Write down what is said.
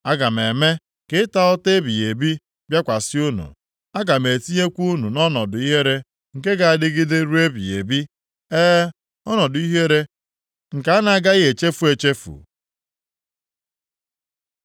Aga m eme ka ịta ụta ebighị ebi bịakwasị unu. Aga m etinyekwa unu nʼọnọdụ ihere nke ga-adịgide ruo ebighị ebi, e, ọnọdụ ihere nke a na-agaghị echefu echefu.”